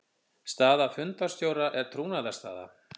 Staða fundarstjóra er trúnaðarstaða.